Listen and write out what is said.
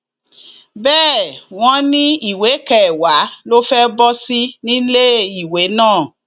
bẹẹ wọn ni ìwé kẹwàá ló fẹẹ bọ sí níléèwé náà